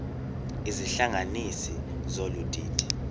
izihlanganisi zolu didi